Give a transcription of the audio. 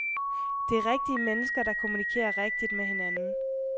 Det er rigtige mennesker, der kommunikerer rigtigt med hinanden.